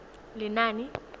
lenaane